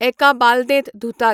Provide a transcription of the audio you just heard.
एका बालदेंत धुतात